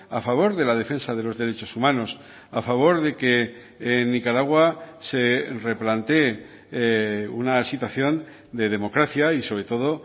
a favor de la defensa de los derechos humanos a favor de que en nicaragua se replantee una situación de democracia y sobre todo